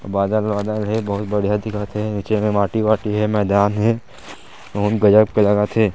बादल वादल हे बहुत बढ़िया दिखत हे नीचे में माटी वाटी हे मैदान हे अउ ब्लैक कलर रथे।